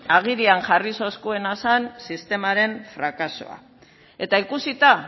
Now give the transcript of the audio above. agerian jarri zuena zen sistemaren frakasoa eta ikusita